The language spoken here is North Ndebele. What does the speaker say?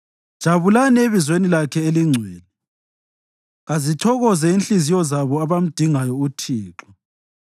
Jabulani ebizweni lakhe elingcwele; kazithokoze inhliziyo zabo abamdingayo uThixo.